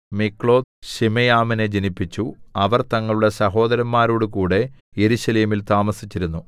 മിക്ലോത്ത് ശിമെയാമിനെ ജനിപ്പിച്ചു അവർ തങ്ങളുടെ സഹോദരന്മാരോടുകൂടെ യെരൂശലേമിൽ താമസിച്ചിരുന്നു